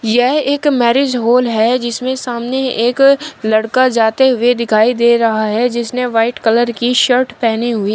यह एक marriage hall है जिसमें सामने एक लड़का जाते हुए दिखाई दे रहा है जिसने व्हाइट कलर की शर्ट पहनी हुई--